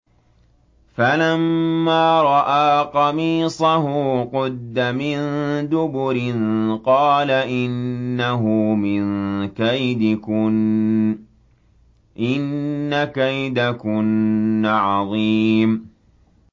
فَلَمَّا رَأَىٰ قَمِيصَهُ قُدَّ مِن دُبُرٍ قَالَ إِنَّهُ مِن كَيْدِكُنَّ ۖ إِنَّ كَيْدَكُنَّ عَظِيمٌ